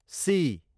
C